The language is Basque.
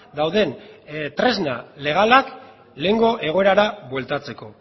dauden tresna legalak lehengo egoerara bueltatzeko